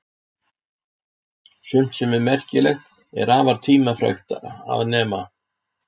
Sumt sem er merkilegt er afar tímafrekt að nema.